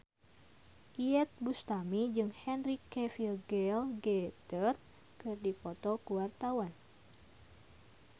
Iyeth Bustami jeung Henry Cavill Gal Gadot keur dipoto ku wartawan